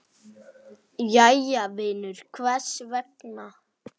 Jæja vinur, hvers vegna?